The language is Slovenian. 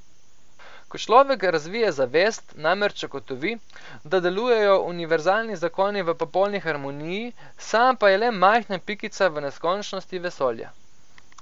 Ko človek razvije zavest, namreč ugotovi, da delujejo univerzalni zakoni v popolni harmoniji, sam pa je le majhna pikica v neskončnosti vesolja.